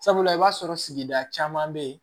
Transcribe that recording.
Sabula i b'a sɔrɔ sigida caman be ye